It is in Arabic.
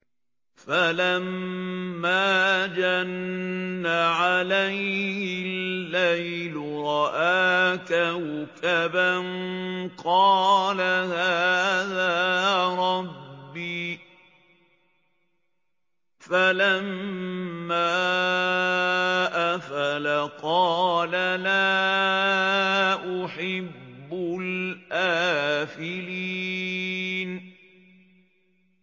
فَلَمَّا جَنَّ عَلَيْهِ اللَّيْلُ رَأَىٰ كَوْكَبًا ۖ قَالَ هَٰذَا رَبِّي ۖ فَلَمَّا أَفَلَ قَالَ لَا أُحِبُّ الْآفِلِينَ